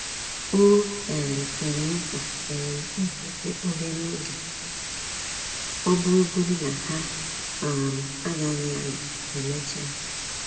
O um kwere nkwa um ịkwụsị obere oge, ọ bụrụ godi na-ha um agaghị anọ emecha